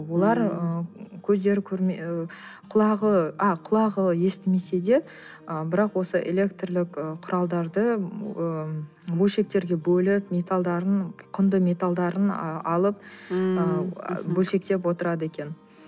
олар ы көздері ы құлағы а құлағы естімесе де ы бірақ осы электрлік ы құралдарды ы бөлшектерге бөліп металдарын құнды металдарын ы алып ммм ы бөлшектеп отырады екен